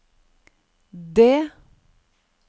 D